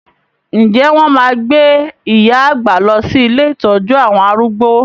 Ǹjẹ́ wọn máa gbé iya àgbà lọ sí ilé ìtọ́jú àwọn arúgbó?